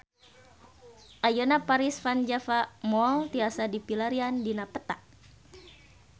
Ayeuna Paris van Java Mall tiasa dipilarian dina peta